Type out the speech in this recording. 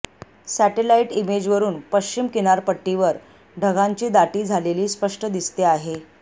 satellite इमेजवरून पश्चिम किनारपट्टीवर ढगांची दाटी झालेली स्पष्ट दिसते आहे